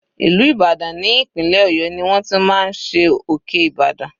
Ìlú Ìbàdàn ní ìpínlẹ̀ ọ̀yọ́ ni wọ́n ti máa ń ṣe òkè Ibadan.